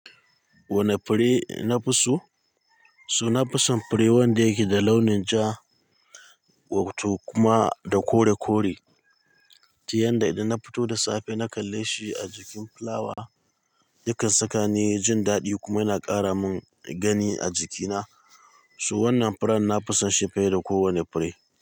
Wane fure nafi so? So nafison fure wanda yake da launin ja, wato kuma da kore kore. To yanda idan na fito da safe na kalle shi a jikin fulawa, yakan saka ni jin dadi kuma yana kara min gani a jikina. So wannan furen nafison shi fiye da ko wane fure.